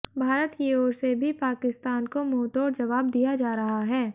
भारत की ओर से भी पाकिस्तान को मुंहतोड़ जवाब दिया जा रहा है